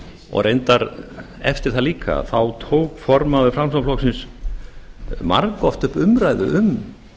og reyndar eftir það líka þá tók formaður framsóknarflokksins margoft upp umræðu um